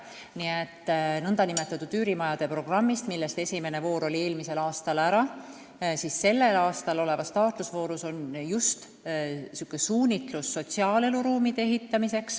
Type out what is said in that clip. Nii et nn üürimajade programmi raames, mille esimene voor oli eelmisel aastal ära, on selle aasta taotlusvooru suunitlus just sotsiaaleluruumide ehitamine.